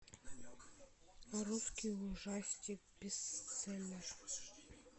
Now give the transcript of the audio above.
русский ужастик бестселлер